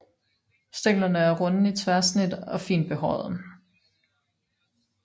Stænglerne er runde i tværsnit og fint behårede